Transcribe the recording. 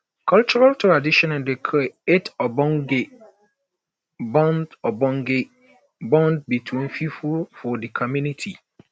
cultural tradition dey create ogbonge bond ogbonge bond between pipo for di community